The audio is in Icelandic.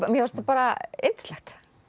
mér fannst bara yndislegt